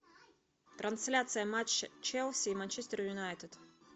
трансляция матча челси и манчестер юнайтед